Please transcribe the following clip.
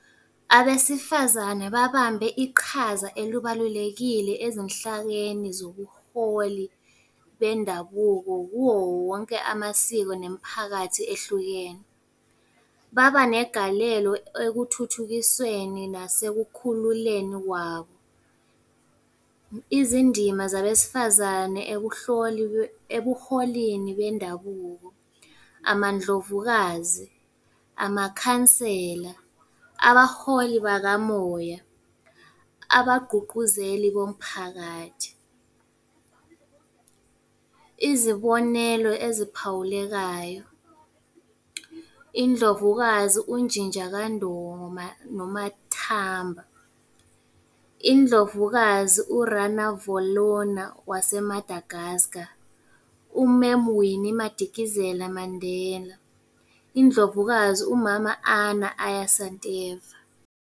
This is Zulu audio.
Abesifazane babambe iqhaza elibalulekile ezinhlakeni zobuholi bendabuko kuwo wonke amasiko nemiphakathi ehlukene. Baba negalelo ekuthuthukisweni nasekukhululeni kwabo. Izindima zabesifazane ebuholini bendabuko. Amandlovukazi, amakhansela, abaholi bakamoya, abagqugquzeli bomphakathi. Izibonelo eziphawulekayo, Indlovukazi uNjinja kaNdoma noMathamba. Indlovukazi u-Ranavalona waseMadagascar. Umemu Winnie Madikizela Mandela. Indlovukazi umama Anna Aya Santiyeva.